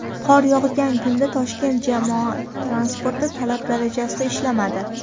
Qor yog‘gan kunda Toshkent jamoat transporti talab darajasida ishlamadi.